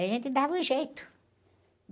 A gente dava um jeito,